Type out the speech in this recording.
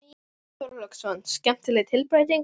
Björn Þorláksson: Skemmtileg tilbreyting?